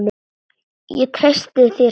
Ég treysti þér sagði hún.